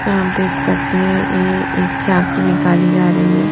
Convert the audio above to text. आप देख सकते हैं ये एक छाकी निकाली जा रहीहै।